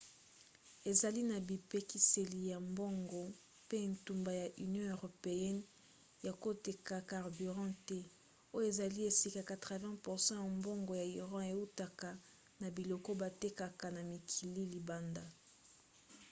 ezali na bipekiseli ya mbongo mpe etumbu ya union europeenne ya koteka carburant te oyo ezali esika 80% ya mbongo ya iran eutaka na biloko batekaka na mikili ya libanda